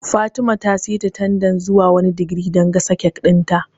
Fatima ta seta tandan zuwa wani digiri dan gasa kek ɗin ta